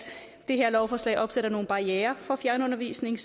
det her lovforslag opsætter nogle barrierer for fjernundervisning